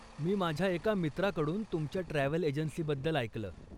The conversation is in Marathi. मी माझ्या एका मित्राकडून तुमच्या ट्रॅव्हल एजन्सीबद्दल ऐकलं.